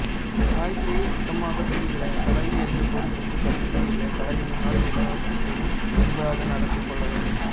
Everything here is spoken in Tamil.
காயத்திரியை சுத்தமாக பிடிக்கல தலைவி என்ற பொருப்புக்கு தகுதியே இல்ல தலைவினா எல்லோருக்கிட்டையும் அன்பாக நடந்து கொள்ள வேண்டும்